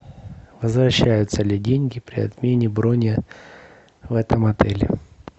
возвращаются ли деньги при отмене брони в этом отеле